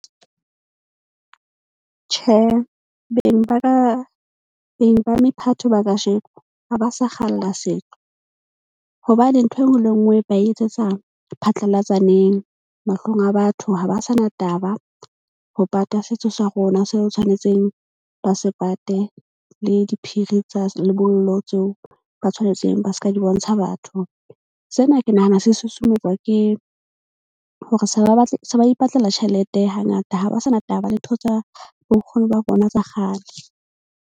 Tjhe, beng ba ka beng ba mephato ba kasheko ha ba sa kgalla setso. Hobane ntho e nngwe le e nngwe ba etsetsa phatlalatsaneng. Mahlong a batho, ha ba sa na taba ho pata setso sa rona se re tshwanetseng ba se pate. Le diphiri tsa lebollo tseo ba tshwanetseng ba ska di bontsha batho. Sena ke nahana se susumetswa ke hore se ba batla se ba ipatlela tjhelete hangata ha ba sa na taba le ntho tsa bo nkgono ba bona tsa kgale.